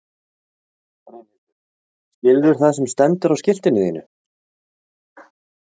Brynhildur: Skilurðu það sem stendur á skiltinu þínu?